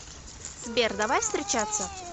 сбер давай встречаться